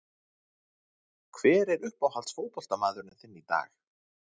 Hver er uppáhalds fótboltamaðurinn þinn í dag?